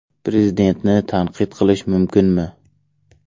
Prezidentni tanqid qilish mumkinmi?